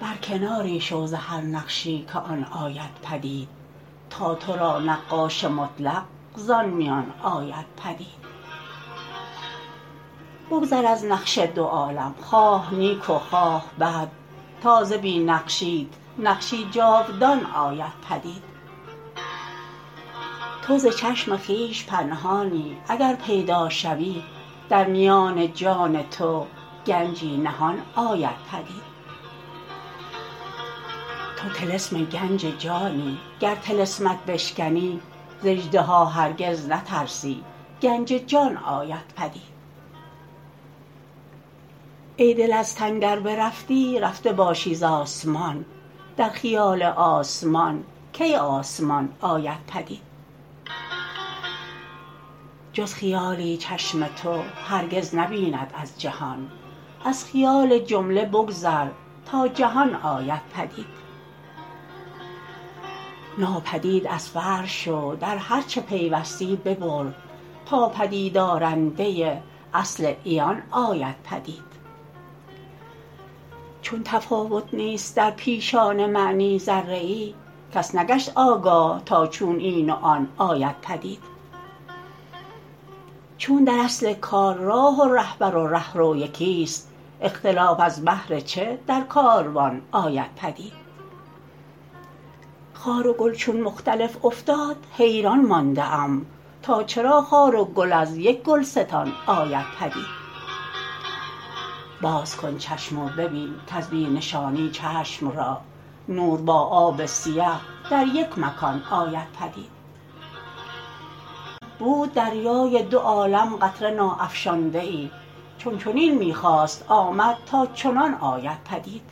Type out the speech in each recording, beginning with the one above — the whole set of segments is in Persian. برکناری شو ز هر نقشی که آن آید پدید تا تو را نقاش مطلق زان میان آید پدید بگذر از نقش دو عالم خواه نیک و خواه بد تا ز بی نقشیت نقشی جاودان آید پدید تو ز چشم خویش پنهانی اگر پیدا شوی در میان جان تو گنجی نهان آید پدید تو طلسم گنج جانی گر طلسمت بشکنی ز اژدها هرگز نترسی گنج جان آید پدید ای دل از تن گر برفتی رفته باشی زآسمان در خیال آسمان کی آسمان آید پدید جز خیالی چشم تو هرگز نبیند از جهان از خیال جمله بگذر تا جنان آید پدید ناپدید از فرع شو در هرچه پیوستی ببر تا پدید آرنده اصل عیان آید پدید چون تفاوت نیست در پیشان معنی ذره ای کس نگشت آگاه تا چون این و آن آید پدید چون در اصل کار راه و رهبر و رهرو یکی است اختلاف از بهر چه در کاروان آید پدید خار و گل چون مختلف افتاد حیران مانده ام تا چرا خار و گل از یک گلستان آید پدید باز کن چشم و ببین کز بی نشانی چشم را نور با آب سیه در یک مکان آید پدید بود دریای دو عالم قطره نا افشانده ای چون چنین می خواست آمد تا چنان آید پدید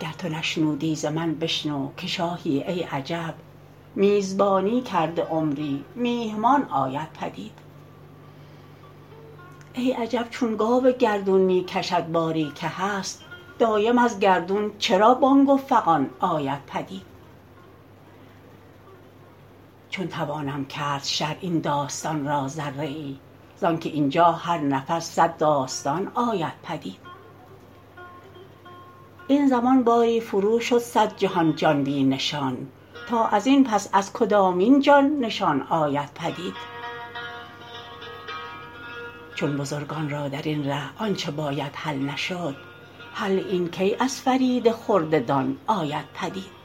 گر تو نشنودی ز من بشنو که شاهی ای عجب میزبانی کرده عمری میهمان آید پدید ای عجب چون گاو گردون می کشد باری که هست دایم از گردون چرا بانگ و فغان آید پدید چون توانم کرد شرح این داستان را ذره ای زانکه اینجا هر نفس صد داستان آید پدید این زمان باری فروشد صد جهان جان بی نشان تا ازین پس از کدامین جان نشان آید پدید چون بزرگان را درین ره آنچه باید حل نشد حل این کی از فرید خرده دان آید پدید